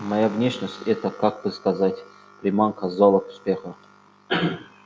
моя внешность это как бы сказать приманка залог успеха